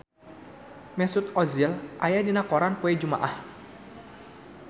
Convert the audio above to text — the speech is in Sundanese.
Mesut Ozil aya dina koran poe Jumaah